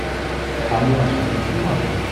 awọn aṣayan tun wa fun